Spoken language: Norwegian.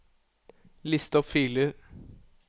list opp filer